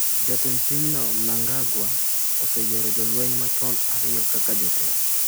Jatend pinyno Mnangagwa oseyiero jolweny machon ariyo kaka jotelo.